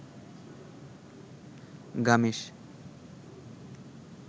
গামেস